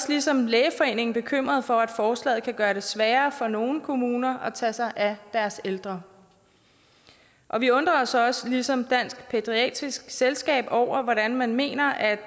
ligesom lægeforeningen også bekymrede for at forslaget kan gøre det sværere for nogle kommuner at tage sig af deres ældre og vi undrer os os ligesom dansk pædiatrisk selskab over hvordan man mener at